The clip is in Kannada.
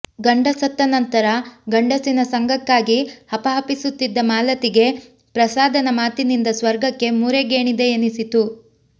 ಗಂಡ ಸತ್ತ ನಂತರ ಗಂಡಸಿನ ಸಂಗಕ್ಕಾಗಿ ಹಪಹಪಿಸುತ್ತಿದ್ದ ಮಾಲತಿಗೆ ಪ್ರಸಾದನ ಮಾತಿನಿಂದ ಸ್ವರ್ಗಕ್ಕೆ ಮೂರೇ ಗೇಣಿದೆ ಎನಿಸಿತ್ತು